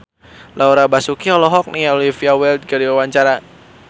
Laura Basuki olohok ningali Olivia Wilde keur diwawancara